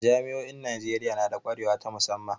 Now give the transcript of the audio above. Jami'o'in Najeriya na da kwarewa ta musamman.